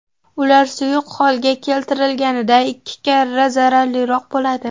Ular suyuq holga keltirilganida ikki karra zararliroq bo‘ladi.